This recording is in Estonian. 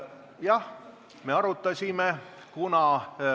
Jah, me arutasime seda.